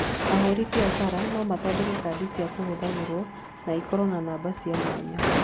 Ahũri biacara no mathondeke kadi cia kũhũthagĩrũo na ikorũo na namba cia mwanya.